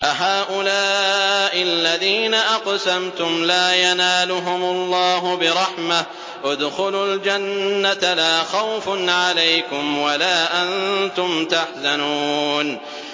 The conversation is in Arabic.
أَهَٰؤُلَاءِ الَّذِينَ أَقْسَمْتُمْ لَا يَنَالُهُمُ اللَّهُ بِرَحْمَةٍ ۚ ادْخُلُوا الْجَنَّةَ لَا خَوْفٌ عَلَيْكُمْ وَلَا أَنتُمْ تَحْزَنُونَ